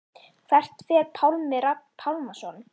Hvert fer Pálmi Rafn Pálmason?